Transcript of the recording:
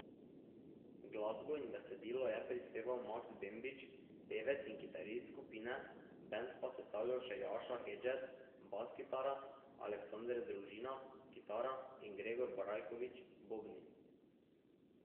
Glasbo in besedila je prispeval Maks Bembič, pevec in kitarist skupine, bend pa sestavljajo še Jaša Hedžet, bas kitara, Aleksander Družina, kitara, in Gregor Brajkovič, bobni.